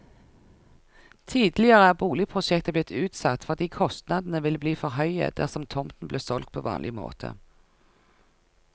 Tidligere er boligprosjektet blitt utsatt, fordi kostnadene ville bli for høye dersom tomten ble solgt på vanlig måte.